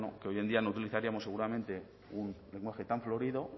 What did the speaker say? que hoy en día no utilizaríamos seguramente un lenguaje tan florido